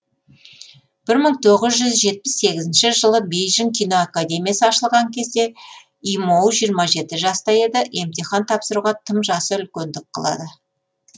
бір мың тоғыз жүз жетпіс сегізінші жылы бейжің кино академиясы ашылған кезде имоу жиырма жеті жаста еді емтихан тапсыруға тым жасы үлкендік қылады